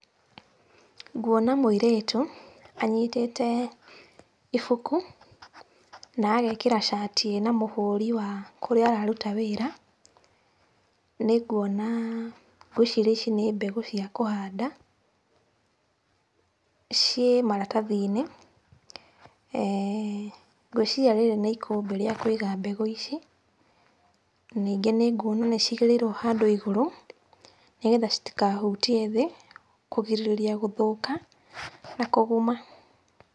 Nguona mũirĩtu anyitĩte ibuku na agekĩra cati ĩna mũhũri wa kũrĩa araruta wĩra. Nĩnguona, ngwĩciria ici nĩ mbegũ cia kũhanda, ciĩ maratathi-inĩ. [eeh ]Ngwĩciria rĩrĩ nĩ ikũmbĩ rĩa kũiga mbegũ ici. Na ningĩ nĩnguona nĩcigĩrĩrirwo handũ igũrũ, nĩgetha citikahutie thĩ, kũgirĩrĩria gũthũka na kũguma.